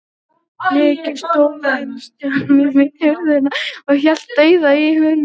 Nikki stóð enn stjarfur við hurðina og hélt dauðahaldi í húninn.